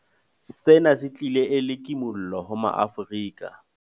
Sena se tlile e le kimollo ho maAfrika